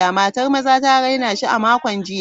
Matar maza ta raina shi a makon jiya.